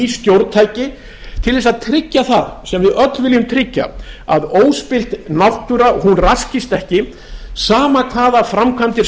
stjórntæki til þess að tryggja það sem við öll viljum tryggja að óspillt náttúra raskist ekki sama hvaða framkvæmdir